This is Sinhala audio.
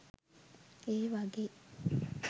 ඒ වගේ